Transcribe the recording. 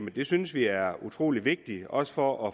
det synes vi er utrolig vigtigt også for